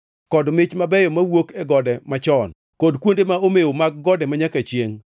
kod mich mabeyo mawuok e gode machon, kod kuonde ma omew mag gode manyaka chiengʼ;